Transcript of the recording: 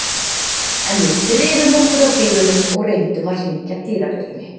En við drifum okkur að dyrunum og reyndum að hringja dyrabjöllunni.